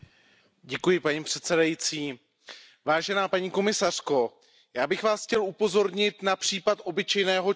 Paní předsedající, paní komisařko, já bych Vás chtěl upozornit na případ obyčejného člověka.